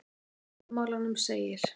Í formálanum segir